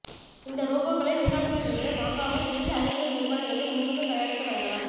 இந்த ரோபோக்களை வெளிநாடுகளிலிருந்து வாங்காமல் இந்திய அறிவியல் நிறுவனங்களே முன்வந்து தயாரித்து வழங்கலாம்